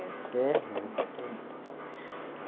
É, é um recomeço.